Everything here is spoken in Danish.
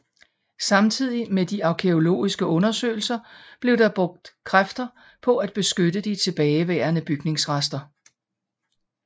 Samtidigt med de arkæologiske undersøgelser blev der brugt kræfter på at beskytte de tilbageværende bygningsrester